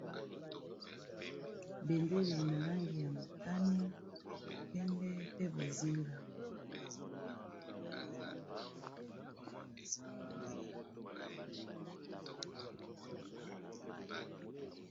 bendele na langi ya motani pembe pe bozinga